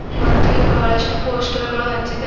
ಮತ್ತೆ ಇಲ್ಲಿ ಬಹಳಷ್ಟು ಪೋಸ್ಟರ್ ಗಳು ಹಚ್ಚಿದ್ದಾವೆ.